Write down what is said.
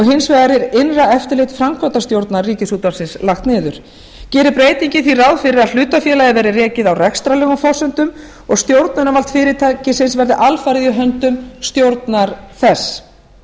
hins vegar er innra eftirlit framkvæmdastjórnar ríkisútvarpsins lagt niður gerir breytingin því ráð fyrir því að hlutafélagið verði rekið á rekstrarlegum forsendum og stjórnunarvald fyrirtækisins verði alfarið í höndum stjórnar þess